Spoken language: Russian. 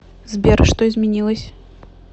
сбер что изменилось